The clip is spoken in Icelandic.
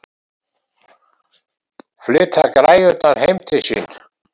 Flytja græjurnar heim til sín?